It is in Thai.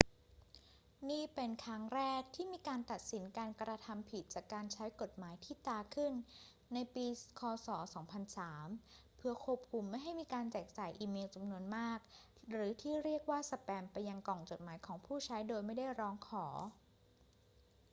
นี่เป็นครั้งแรกที่มีการตัดสินการกระทำผิดจากการใช้กฎหมายที่ตราขึ้นในปี ค. ศ. 2003 เพื่อควบคุมไม่ให้มีการแจกจ่ายอีเมลจำนวนมากหรือที่เรียกว่าสแปมไปยังกล่องจดหมายของผู้ใช้โดยไม่ได้ร้องขอ